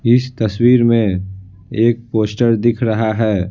इस तस्वीर में एक पोस्टर दिख रहा है।